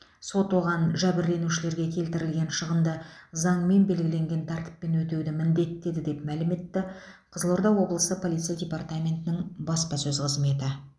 сот оған жәбірленушілерге келтірілген шығынды заңмен белгіленген тәртіппен өтеуді міндеттеді деп мәлім етті қызылорда облысы полиция департаментінің баспасөз қызметі